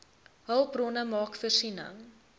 hulpbronne maak voorsiening